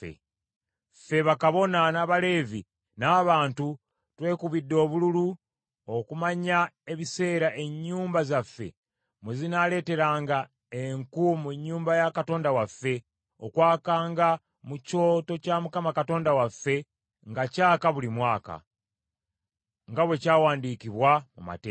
“Ffe bakabona, n’Abaleevi, n’abantu twekubidde obululu okumanya ebiseera ennyumba zaffe mwe zinaaleeteranga enku mu nnyumba ya Katonda waffe, okwakanga mu kyoto kya Mukama Katonda waffe nga kyaka buli mwaka, nga bwe kyawandiikibwa mu mateeka.